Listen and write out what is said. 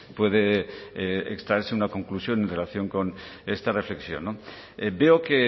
puede extraerse una conclusión en relación con esta reflexión veo que